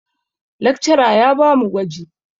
Lakcara ya ba mu gwaji.